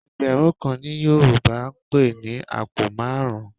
Ẹgbẹ̀rún kan ni Yorùbá ń pè ní àpò márùn-ún